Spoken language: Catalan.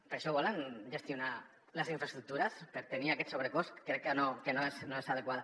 per això volen gestionar les infraestructures per tenir aquest sobrecost crec que no és adequat